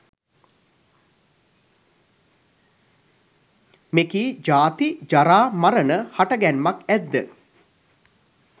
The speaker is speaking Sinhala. මෙකී ජාති, ජරා, මරණ හටගැන්මක් ඇත් ද